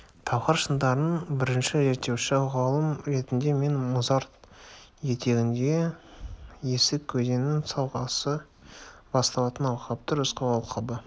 талғар шыңдарын бірінші зерттеуші ғалым ретінде мен мұзарт етегіндегі есік өзенінің сағасы басталатын алқапты рысқұл алқабы